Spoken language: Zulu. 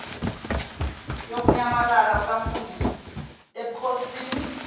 yokunyamalala kukamfundisi bukhosini